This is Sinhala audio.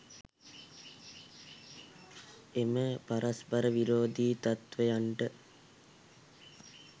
එම පරස්පර විරෝධී තත්වයන්ට